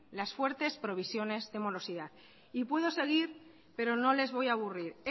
las fuertes provisiones de morosidad y puedo seguir pero no les voy a aburrir